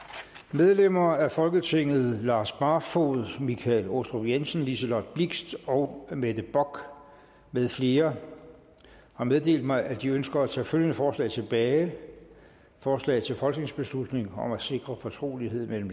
medlemmer af folketinget lars barfoed michael aastrup jensen liselott blixt og mette bock med flere har meddelt mig at de ønsker at tage følgende forslag tilbage forslag til folketingsbeslutning om at sikre fortrolighed mellem